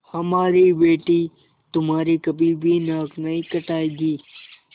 हमारी बेटी तुम्हारी कभी भी नाक नहीं कटायेगी